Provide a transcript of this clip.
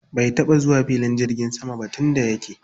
Bai taɓa zuwa filin jirgin sama ba tun da yake.